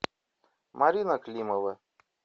марина климова